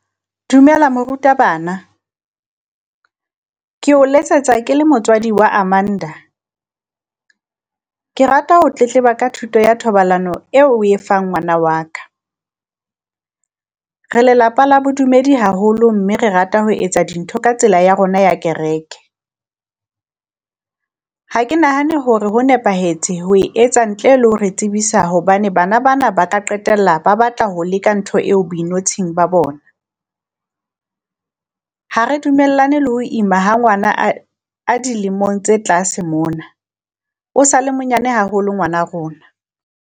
Dumela moruta bana, ke o letsetsa ke le motswadi wa Amanda. Ke rata ho tletleba ka thuto ya thobalano eo o e fang ngwana wa ka, re lelapa la bodumedi haholo mme re rata ho etsa dintho ka tsela ya rona ya kereke. Ha ke nahane hore ho nepahetse ho e etsa ntle le ho re tsebisa, hobane bana bana ba ka qetella ba batla ho leka ntho eo boinotshing ba bona. Ha re dumellane le ho ima ha ngwana a a dilemong tse tlase mona, o sa le monyane haholo ngwana rona.